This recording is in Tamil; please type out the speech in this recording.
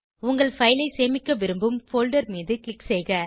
உங்கள் பைல் ஐ சேமிக்க விரும்பும் போல்டர் மீது க்ளிக் செய்க